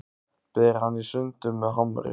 Ber hann í sundur með hamri.